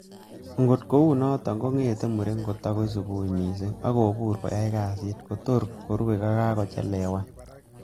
Ogot kounoton, kong'ete muren kotako subui missing ak kobur koyoe kasit tor korue ko kokakochelewan.